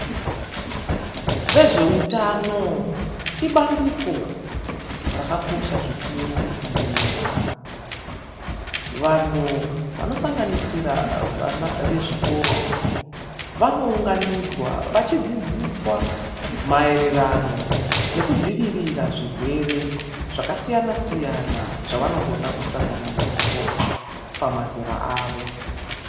Vezvehutano ibandiko rakakosha zvikuru munyika. Vanhu vanosanganisira vana vezvikoro vanounganidzwa vachidzidziswa maererano nekudzivirira zvirwere zvakasiyana siyana zvavanogona kusangana nazvo pamazera avo.